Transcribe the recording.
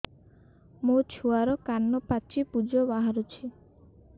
ମୋ ଛୁଆର କାନ ପାଚି ପୁଜ ବାହାରୁଛି